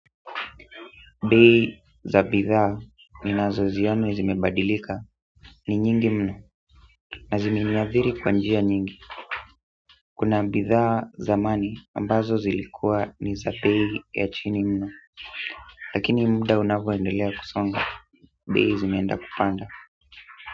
Bei za bithaa ni nazoziona zimebadilika ni nyingi mno na zimeniadhiri kwa njia nyingi kuna bithaa zamani ambazo zilikua ni za bei ya chini mno lakini muda unavyoendelea kusonga, bei zimeenda kupanda.